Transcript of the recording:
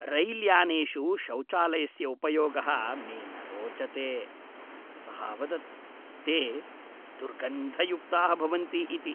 रैल्यानेषु शौचालयस्य उपयोगः मे न रोचते, सः अवदत्, ते दुर्गन्धयुक्ताः भवन्ति इति।